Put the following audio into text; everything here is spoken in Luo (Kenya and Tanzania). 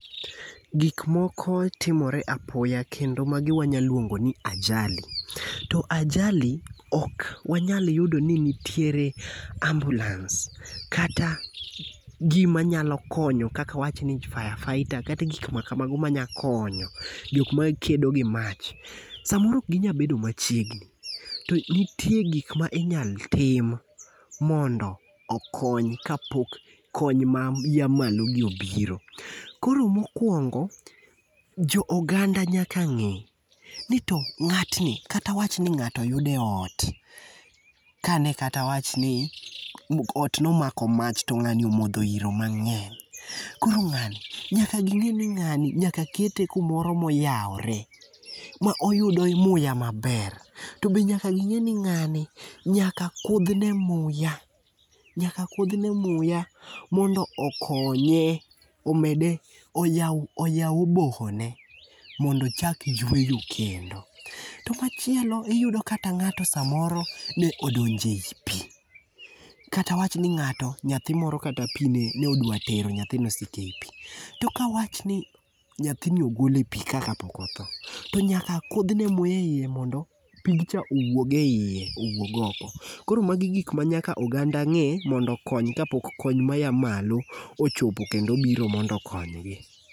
Gik moko timore apoya kendo magi wanya luongo ni ajali. To ajali ok wanayal yudo ni nitiere ambulans kata gima nyalo konyo kaka awachni fire fighter, kata gik makamago manya konyo, jok makedo gi mach, samoro ok ginyal bedo machiegni. to nitie gik minyalo tim mondo okony kapok kony maya malogi obiro. Koro mokwongo, jo oganda nyaka ng'e, ni to ng'atni, kata awachni ng'ato oyud e ot, ka ne kata awachni, ot nomako mach to ng'ani omodho iro mang'eny, koro ng'ani, nyaka ging'e ni ng'ani nyaka kete kumoro moyawore ma oyudo muya maber, to be nyaka ging'e ni ng'ani nyaka kudhne muya, nyaka kudhne muya mondo okonye, omede, oyaw oboho ne mondo ochak yweyo kendo. to machielo iyudo kata ng'ato samoro ne odonjo e pi, kata awachni ni ng'ato, nyathi moro kata pi ne odwa tero nyathi moseko e ipi. To ka awach ni nyathini ogol e pi ka kapok otho, to nyaka kudhne muya e iye mondo pigcha owuog e iye, owuog oko. Koro magi gik ma nyaka oganda ng'e mondo okony kapok kony maya malo ochopo, kendo obiro mondo okonygi.